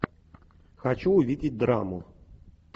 хочу увидеть драму